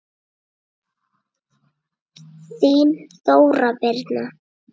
Þín Þóra Birna.